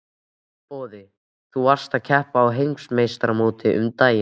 Boði: Þú varst að keppa á heimsmeistaramótinu um daginn?